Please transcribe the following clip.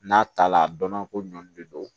N'a ta la a dɔnna ko ɲɔn de don